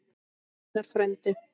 Einar frændi.